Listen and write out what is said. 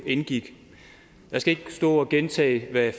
indgik jeg skal ikke stå og gentage hvad